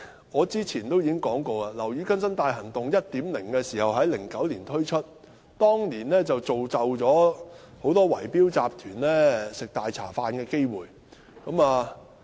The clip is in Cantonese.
我早前已說過，"樓宇更新大行動 1.0" 在2009年推出，當年造就了很多圍標集團吃"大茶飯"的機會。